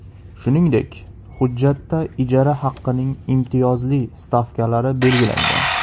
Shuningdek, hujjatda ijara haqining imtiyozli stavkalari belgilangan.